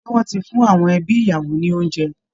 Ṣé wọ́n ti fún awọn ẹbi ìyàwó ní oúnjẹ?